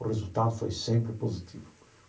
O resultado foi sempre positivo.